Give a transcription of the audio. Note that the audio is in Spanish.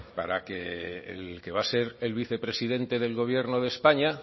para que el que va a ser el vicepresidente del gobierno de españa